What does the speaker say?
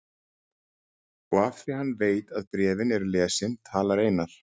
Og af því að hann veit að bréfin eru lesin talar Einar